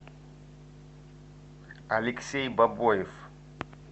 алексей бабоев